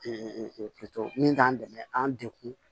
min k'an dɛmɛ an degun